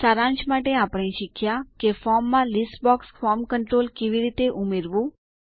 સારાંશ માટે આપણે શીખ્યા કે ફોર્મ માં લીસ્ટ બોક્સ ફોર્મ કન્ટ્રોલ કેવી રીતે ઉમેરવું